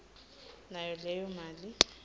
nayo leyo mali